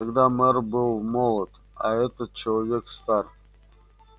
тогда мэр был молод а этот человек стар